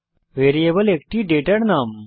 variable একটি ডেটার নাম